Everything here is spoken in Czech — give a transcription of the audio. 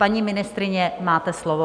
Paní ministryně, máte slovo.